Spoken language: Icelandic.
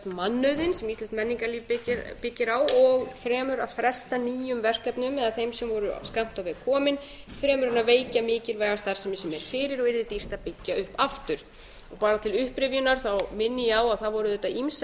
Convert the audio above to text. mannauðinn sem íslenskt menningarlíf byggir á og fremur að fresta nýjum verkefnum eða þeim sem voru of skammt á veg komin fremur en veikja mikilvæga starfsemi sem er fyrir og yrði dýrt að byggja upp aftur bara til upprifjunar minni ég á að það voru auðvitað ýmsar